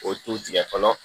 O t'u tigɛ fɔlɔ